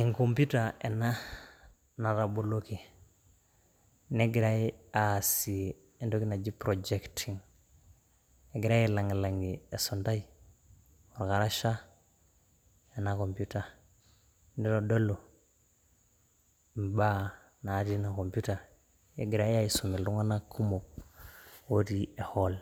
Enkoputa ena nataboloki, negirae aasie entoki naji projecting egirai ailang'ilang'ie esindai olkarasha, ena computer naitodolu, imbaa natii ina computer egirae aisum iltunganak kumok aisum etii ehall